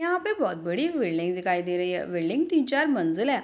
यहां पे बोहत बड़ी बिल्डिंग दिखाई दे रही है बिल्डिंग तीन चार मंजिल है।